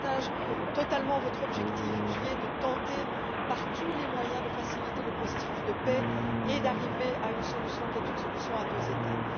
Je partage totalement votre objectif qui est de tenter, par tous les moyens, de faciliter le processus de paix et d'arriver à une solution à deux États.